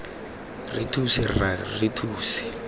re thuse rra re thuse